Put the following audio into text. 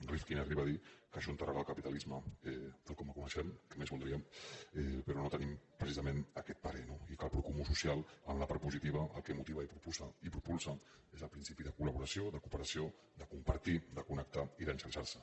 rifkin arriba a dir que això enterrarà el capitalisme tal com el coneixem què més voldríem però no tenim precisament aquest parer no i que el procomú social en la part positiva el que motiva i propulsa és el principi de collaboració de cooperació de compartir de connectar i d’enxarxar se